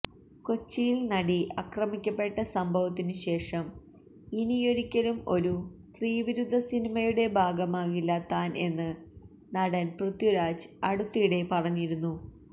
കൊച്ചിയില് നടി അക്രമിക്കപെട്ട സംഭവത്തിനു ശേഷം ഇനിയൊരിക്കലും ഒരു സ്ത്രീവിരുദ്ധസിനിമയുടെ ഭാഗമാകില്ല താന് എന്ന് നടന് പ്രിഥ്വിരാജ് അടുത്തിടെ പറഞ്ഞിരുന്നു